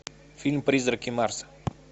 фильм призраки марса